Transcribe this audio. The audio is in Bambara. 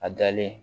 A dalen